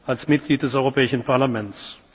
und als Mitglied des Europäischen Parlaments.